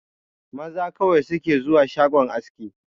Maza kawai su ke zuwa shagon aski